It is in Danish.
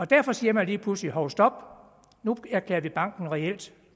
derfor siger man lige pludselig hov stop nu erklærer vi banken reelt